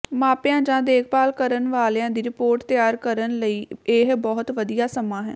ਮਾਪਿਆਂ ਜਾਂ ਦੇਖਭਾਲ ਕਰਨ ਵਾਲਿਆਂ ਦੀ ਰਿਪੋਰਟ ਤਿਆਰ ਕਰਨ ਲਈ ਇਹ ਬਹੁਤ ਵਧੀਆ ਸਮਾਂ ਹੈ